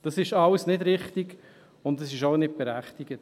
Das ist alles nicht richtig, und es ist auch nicht berechtigt.